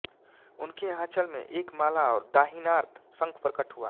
उनके आँचल में एक माला और दाहिनार्त शंख प्रकट हुआ